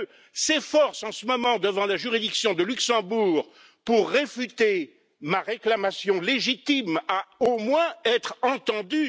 Welle, s'efforcent en ce moment, devant la juridiction de Luxembourg, de réfuter ma réclamation légitime à, au moins, être entendu!